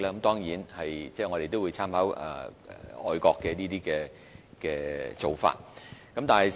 當然，我們亦會參考外國的做法。